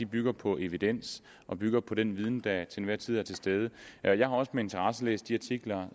bygger på evidens og bygger på den viden der til enhver tid er til stede jeg jeg har også med interesse læst de artikler